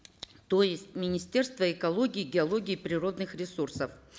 то есть министерство экологии геологии и природных ресурсов